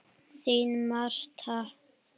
Þín Marta.